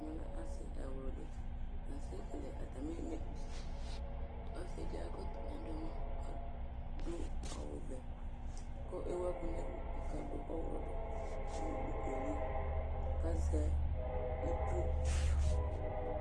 Ɛmɛlɛ asi ɛwlʋdi, la asɛ kele atami ɛmɛkʋsɛ ɔsidi akɔ ɛkɔtɔ kʋ adʋ ɛmɔ kʋ adʋ ewʋblʋ nʋ ɔvɛvkʋ ewʋ ɛkʋ nʋ ɛlʋ lakʋ adʋ ɔwlɔdʋklʋ nʋ dukueli kʋ azɛ itsu